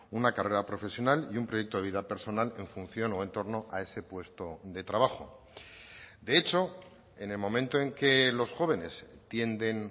una carrera profesional y un proyecto de vida personal en función o en torno a ese puesto de trabajo de hecho en el momento en que los jóvenes tienden